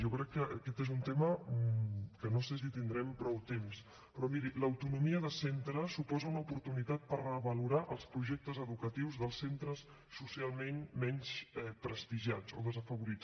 jo crec que aquest és un tema que no sé si tindrem prou temps però miri l’autonomia de centres suposa una oportunitat per revalorar els projectes educatius dels centres socialment menys prestigiats o desafavorits